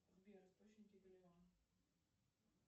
джой в какой организации состоят каймановы острова